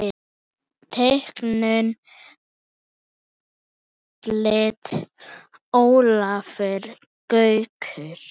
Teiknun og útlit Ólafur Gaukur.